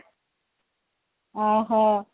ଅ ହ